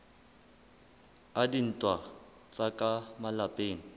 a dintwa tsa ka malapeng